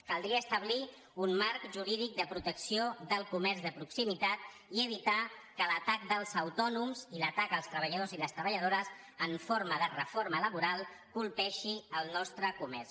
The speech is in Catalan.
caldria establir un marc jurídic de protecció del comerç de proximitat i evitar que l’atac dels autònoms i l’atac als treballadors i les treballadores en forma de reforma laboral colpeixi el nostre comerç